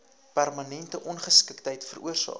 permanente ongeskiktheid veroorsaak